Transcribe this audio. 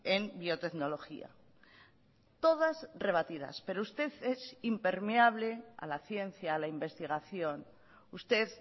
en biotecnología todas rebatidas pero usted es impermeable a la ciencia a la investigación usted